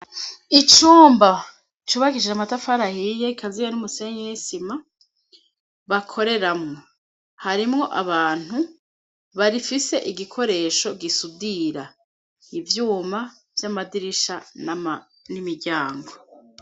Icumba cubagishije amatafarahiye kaziya n'umusenye y'esima bakoreramwo harimwo abantu barifise igikoresho gisudira ivyuma vy'amadirisha n'imiryango.